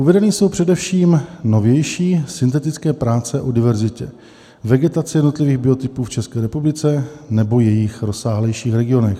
Uvedeny jsou především novější syntetické práce o diverzitě vegetace jednotlivých biotopů v České republice nebo jejích rozsáhlejších regionech.